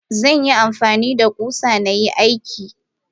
Zanyi amfanida kusa nayi aiki.